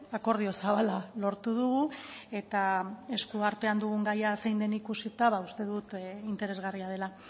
akordio zabala lortu dugu eta eskuartean dugun gaia zein den ikusita ba uste dut interesgarria dela